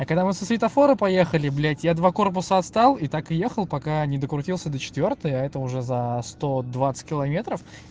а когда мы со светофора поехали блядь я два корпуса отстал и так и ехал пока ни до крутился до четвёртой это уже за сто двадцать километров